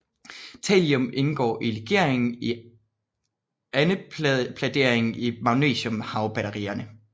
Thallium indgår i legeringen i anodepladerne i magnesiumhavbatterier